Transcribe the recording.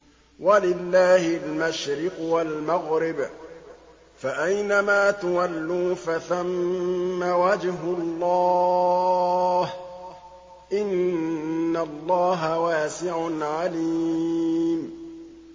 وَلِلَّهِ الْمَشْرِقُ وَالْمَغْرِبُ ۚ فَأَيْنَمَا تُوَلُّوا فَثَمَّ وَجْهُ اللَّهِ ۚ إِنَّ اللَّهَ وَاسِعٌ عَلِيمٌ